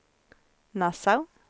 Nassau